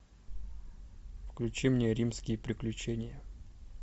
включи мне римские приключения